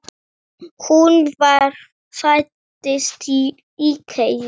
Hún ræðir þetta ekkert frekar.